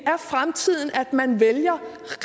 er fremtiden at man vælger